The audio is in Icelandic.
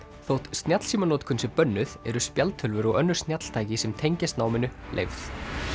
þótt snjallsímanotkun sé bönnuð eru spjaldtölvur og önnur snjalltæki sem tengjast náminu leyfð